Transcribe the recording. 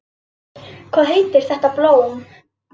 Hvað heitir þetta blóm?